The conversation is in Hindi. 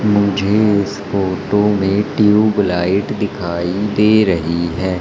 मुझे इस फोटो में ट्यूबलाइट दिखाई दे रही है।